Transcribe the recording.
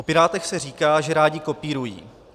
O Pirátech se říká, že rádi kopírují.